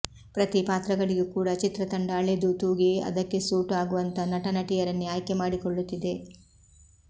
ಪ್ರತೀ ಪಾತ್ರಗಳಿಗೂ ಕೂಡಾ ಚಿತ್ರ ತಂಡ ಅಳೆದೂ ತೂಗಿ ಅದಕ್ಕೆ ಸೂಟು ಆಗುವಂಥಾ ನಟ ನಟಿಯರನ್ನೇ ಆಯ್ಕೆ ಮಾಡಿಕೊಳ್ಳುತ್ತಿದೆ